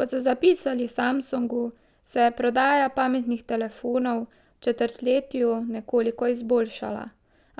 Kot so zapisali v Samsungu, se je prodaja pametnih telefonov v četrtletju nekoliko izboljšala,